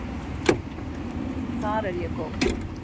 Þar er ég góð.